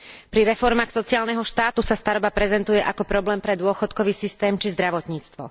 Pri reformách sociálneho štátu sa staroba prezentuje ako problém pre dôchodkový systém či zdravotníctvo.